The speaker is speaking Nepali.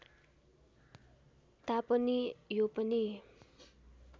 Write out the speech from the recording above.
तापनि यो पनि